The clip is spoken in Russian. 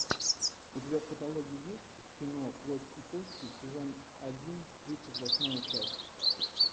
у тебя в каталоге есть кино плоть и кости сезон один тридцать восьмая часть